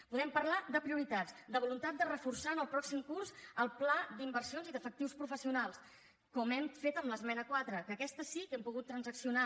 podem parlar de prioritats de voluntat de reforçar en el pròxim curs el pla d’inversions i d’efectius professionals com hem fet amb l’esmena quatre que aquesta sí que l’hem pogut transaccionar